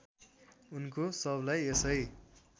उनको शवलाई यसै